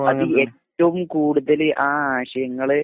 അത് ഏറ്റവും കൂടുതൽ ആ ആശയങ്ങൾ